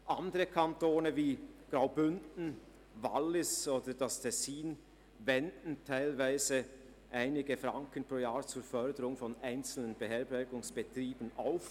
Andere Kantone wie Graubünden, Wallis oder das Tessin wenden teilweise einige Franken pro Jahr zur Förderung einzelner Beherbergungsbetriebe auf.